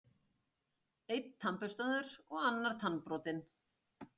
an: Einn tannburstaður og annar tannbrotinn.